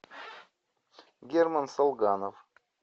герман салганов